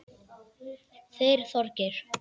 Þeir Þorgeir